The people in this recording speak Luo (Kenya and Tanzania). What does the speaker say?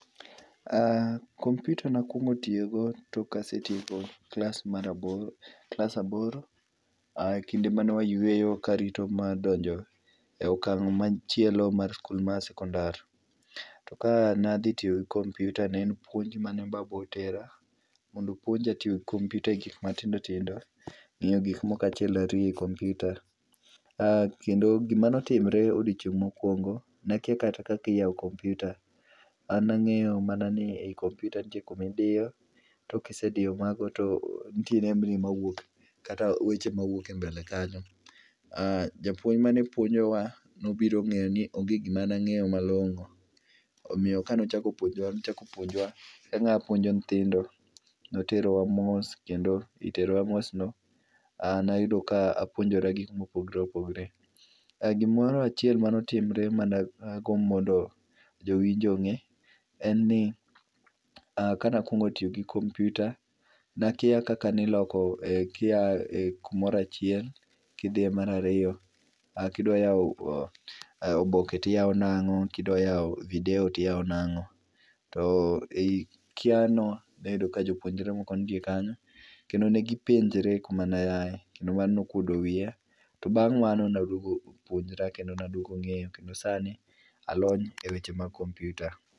Aaah, kompyuta nakuogno tiyo go tok kane asetieko klas mar aboro, klas aboro kinde mane wayweyo karito donjo e okang' machielo mar skul mar sekondar. To kanadhi tiyo gi kompyuta ne en puonj mane babawa otera mondo opuonja tiyo gi kompyuta e gik matindo tindo, ng'eyo gik moko achiel ariyo e kompyuta. To gimane otimore e odiochieng mokuongo, nakia kata yao kompyuta, an nang'eyo mana ni e kompyuta nitie kuma idiyo, tok kisediyo mago to nitie nembni mawuok kata weche mawuok e mbele kanyo. Japuonj mane puonjowa nobiro ngeyo ni onge gimane angeyo malongo, omiyo kane ochako puonjowa, nochako puonjowa ka nga puonjo nyithindo, noterowa mos kendo ei terowa mos no ,aaa, nayudo ka apuonjora gikma opogore opogore. Gimoro achiel mane otimore ma dagomb mondo jowinjo onge, en ni aah, kane akuongo tiyo gi kompyuta nakia kaka iloko kia kumoro achiel kidhiye mar ariyo, kidwa yao oboke tiyao nango, kidwa yao video tiyao nango to ei kia no noyudo ka jopuonjre moko nitie kanyo kendo negipenjre kuma nayae kendo ano nokuodo wiya to bang mano naduogo puonjra kendo naduogo ngeyo kendo sani alony e weche mag kompyuta.